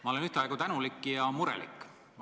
Ma olen ühtaegu tänulik ja murelik.